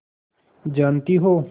जानती हो